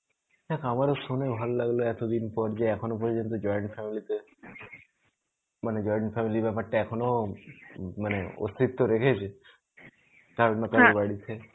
দ্যাখ, আমার শুনে ভালো লাগলো এতদিন পর যে, এখনো পর্যন্ত join family তে মানে join family ব্যাপারটা এখনও উম মানে অস্থিত্ত রেখেছে কার না কার বাড়িতে.